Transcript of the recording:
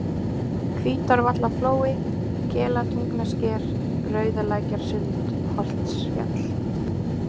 Hvítárvallaflói, Kelatungnasker, Rauðalækjarsund, Holtsfjall